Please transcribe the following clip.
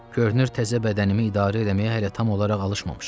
Görünür təzə bədənimi idarə eləməyə hələ tam olaraq alışmamışam.